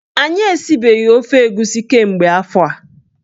Anyị esibeghi ofe egusi kemgbe afọ a.